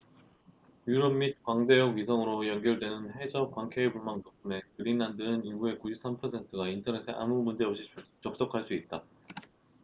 유럽 및 광대역 위성으로 연결되는 해저 광케이블망 덕분에 그린란드는 인구의 93%가 인터넷에 아무 문제 없이 접속할 수 있다